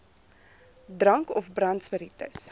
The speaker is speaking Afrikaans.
drank of brandspiritus